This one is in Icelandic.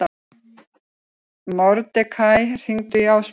Mordekaí, hringdu í Ásmund.